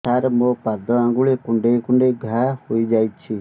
ସାର ମୋ ପାଦ ଆଙ୍ଗୁଳି କୁଣ୍ଡେଇ କୁଣ୍ଡେଇ ଘା ହେଇଯାଇଛି